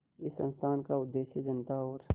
इस संस्थान का उद्देश्य जनता और